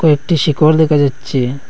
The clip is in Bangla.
ও একটি শিখর দেখা যাচ্ছে।